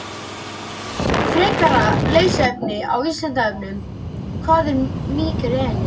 Frekara lesefni á Vísindavefnum: Hvað er mígreni?